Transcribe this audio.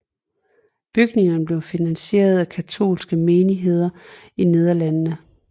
Bygningerne blev finansieret af katolske menigheder i Nederlandene